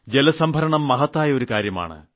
ജലസംഭരണം മഹത്തായ ഒരു കാര്യമാണ്